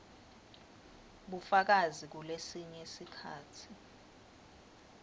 bufakazi kulesinye sikhatsi